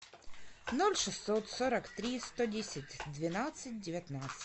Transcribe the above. ноль шестьсот сорок три сто десять двенадцать девятнадцать